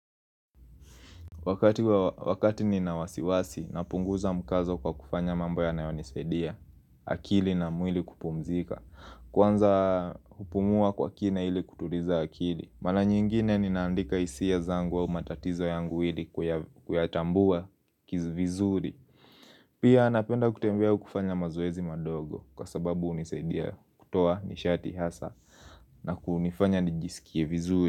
Wakati nina wasiwasi napunguza mkazo kwa kufanya mambo yanayo nisaidia akili na mwili kupumzika Kwanza kupumua kwa kina hili kutuliza akili Mara nyingine ninaandika hisia zangu au matatizo yangu ili kuyatambua vizuri Pia napenda kutembea au kufanya mazoezi madogo kwa sababu hunisaidia kutoa nishati hasa na kunifanya nijisikie vizuri.